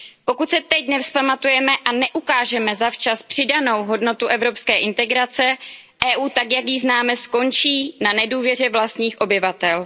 Pokud se teď nevzpamatujeme a neukážeme zavčas přidanou hodnotu evropské integrace, Evropská unie tak, jak ji známe, skončí na nedůvěře vlastních obyvatel.